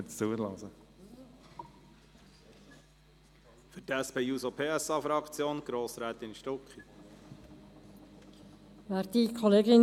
Für die SP-JUSO-PSA-Fraktion hat Grossrätin Stucki das Wort.